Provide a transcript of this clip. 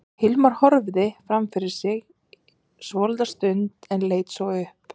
Hilmar horfði fram fyrir sig svolitla stund en leit svo upp.